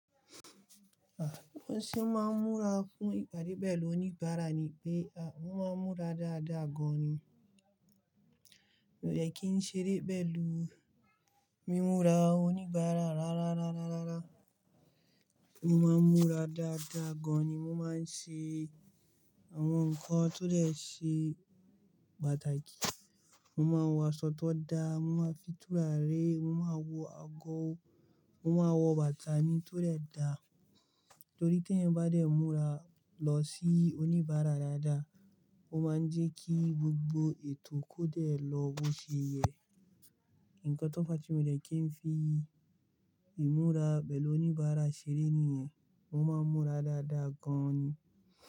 Bi mo se máa ń múra fún ìpàdé pẹ̀lú oníbàárà ni pé mo máa ń múra dáadáa gan-an ni. Mii de kí n ṣeré pẹ̀lú mímura oníbàárà rárá rárá rárá, mo máa ń múra dáadáa gan-an ni, mo máa ń ṣe àwọn nǹkan tó dè ṣe pàtàkì. Mo máa ń wọ aṣọ tó da, mo máa fi tùràri, mo máa wọ ago, mo máa wọ bàtà mi tó dè dá. Nítorí tí ẹ̀eyan bá dẹ̀ múra lọ sí oníbàárà dáadáa, ó máa ń jẹ́ kí gbogbo ètò kó dẹ̀ lọ́ bó se yẹ. Ǹkan to ba tí wu leẹ̀ kí n fi ìmúra pẹ̀lú oníbàárà ṣeré nìyẹn, mo máa ń múra dáadáa gan-an ni.